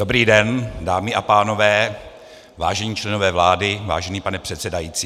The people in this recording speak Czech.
Dobrý den, dámy a pánové, vážení členové vlády, vážený pane předsedající.